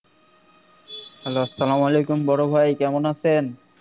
Hello আসসালামু আলাইকুম বড়ো ভাই কেমন আছেন